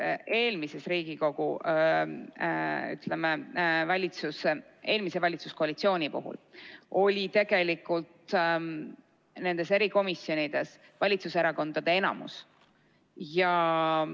Ka eelmises Riigikogus, ütleme, eelmise valitsuskoalitsiooni puhul oli tegelikult nendes erikomisjonides valitsuserakondade enamus.